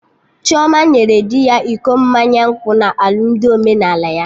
Chioma nyere di ya iko mmanya nkwụ na alụmdi omenala ya